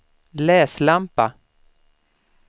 läslampa